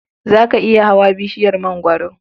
Za ka iya hawa bishiyar mangwaro?